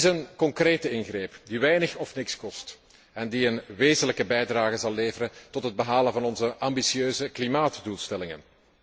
Het is een concrete ingreep die weinig of niets kost en die een wezenlijke bijdrage zal leveren tot het behalen van onze ambitieuze klimaatdoelstellingen.